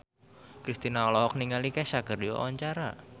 Kristina olohok ningali Kesha keur diwawancara